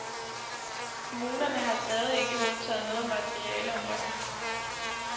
Kommunerne har stadig ikke modtaget noget materiale om loven.